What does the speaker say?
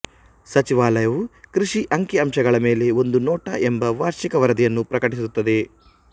ಸಚಿವಾಲಯವು ಕೃಷಿ ಅಂಕಿಅಂಶಗಳ ಮೇಲೆ ಒಂದು ನೋಟ ಎಂಬ ವಾರ್ಷಿಕ ವರದಿಯನ್ನು ಪ್ರಕಟಿಸುತ್ತದೆ